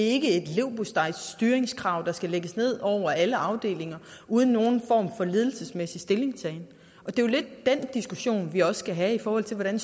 ikke et leverpostejstyringskrav der skal lægges ned over alle afdelinger uden nogen form for ledelsesmæssig stillingtagen og det er jo lidt den diskussion vi også skal have i forhold til hvordan